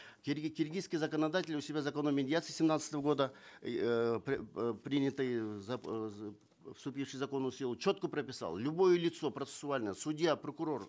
киргизский законодатель у себя в законе о медиации семнадцатого года принятый вступивший в законную силу четко прописал любое лицо процессуальное судья прокурор